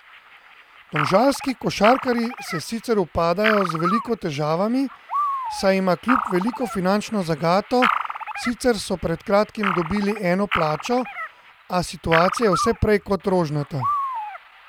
Domžalski košarkarji se sicer upadajo z veliko težavami, saj ima klub veliko finančno zagato, sicer so pred kratkim dobili eno plačo, a situacija je vse prej kot rožnata.